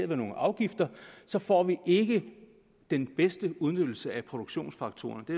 ved nogle afgifter så får vi ikke den bedste udnyttelse af produktionsfaktorerne det